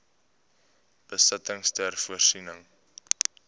besittings ter voorsiening